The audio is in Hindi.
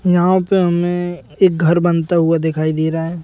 यहाँ पे हमें एक घर बनता हुआ दिखाई दे रहा है।